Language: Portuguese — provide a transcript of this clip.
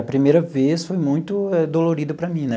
A primeira vez foi muito dolorido para mim né.